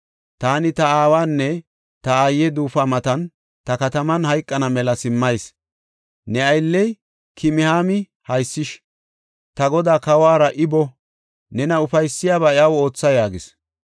Taani ta aawanne ta aaye duufuwa matan ta kataman hayqana mela simmayis. Ne aylley Kimihaami haysish; ta godaa, kawuwara I boo; nena ufaysiyabaa iyaw ootha” yaagis.